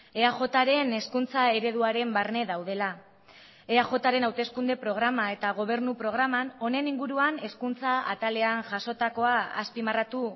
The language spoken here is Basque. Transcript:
eajren hezkuntza ereduaren barne daudela eajren hauteskunde programa eta gobernu programan honen inguruan hezkuntza atalean jasotakoa azpimarratu